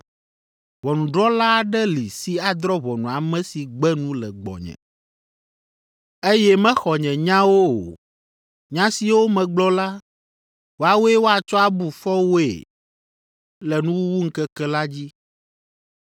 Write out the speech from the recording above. Ʋɔnudrɔ̃la aɖe li si adrɔ̃ ʋɔnu ame si gbe nu le gbɔnye, eye mexɔ nye nyawo o; nya siwo megblɔ la, woawoe woatsɔ abu fɔ woe le nuwuwuŋkeke la dzi.